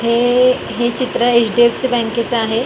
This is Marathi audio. हे हे चित्र एच_डी_एफ_सी बँके च आहे.